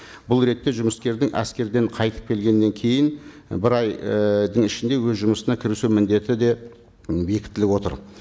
бұл ретте жұмыскердің әскерден қайтып келгеннен кейін бір ай і ішінде өз жұмысына кірісу міндеті де бекітіліп отыр